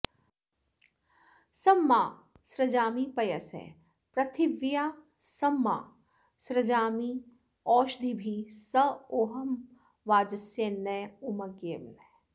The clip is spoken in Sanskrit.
सं मा सृजामि पयसः पृथिव्याः सं मा सृजाम्यद्भिरौषधीभिः सोहं वाजस्य नौम्यग्नेः